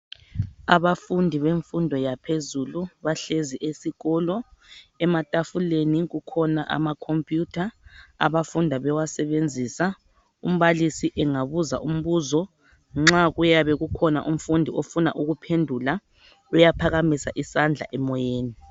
Abafundi bemfundo yaphezulu bahlezi esikolo. Emathafuleni kukhona amakhophiyutha abafunda bebasebenzisa. Umbalisi engabusa imbuzo nxa kuyabe kukhona umfundi ofuna ukuphendula, uyaphakamisa isandla emoyeni.